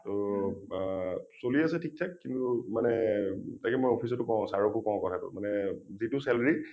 টো আ চলি আছে ঠিক থাক । কিন্তু মানে তাকে মই office টো কওঁ sir কো কওঁ কথাটো মানে যিটো salary ।